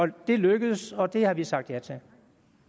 det det lykkedes og det har vi sagt ja til